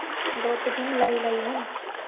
ਦੁੱਧ ਦੀ ਮਲਾਈ ਲਾਈ ਹੁਣ